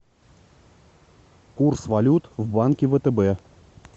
курс валют в банке втб